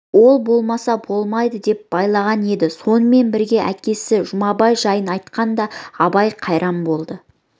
ол болмаса болмайды деп байлаған еді сонымен бірге әкесі жұмабай жайын айтқанда абай қайран болды